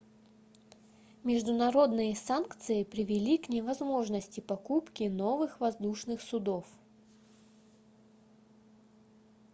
международные санкции привели к невозможности покупки новых воздушных судов